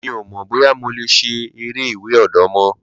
Mí ọ mo boya mo le ṣe eré ìwè odò mo